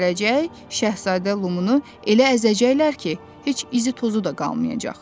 Bir gün gələcək, şahzadə Lumunu elə əzəcəklər ki, heç izi-tozu da qalmayacaq.